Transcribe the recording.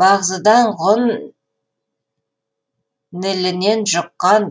бағзыдағы ғұн нілінен жұққан